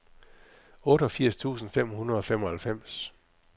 otteogfirs tusind fem hundrede og femoghalvfems